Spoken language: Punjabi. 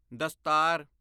ਦਸਤਾਰ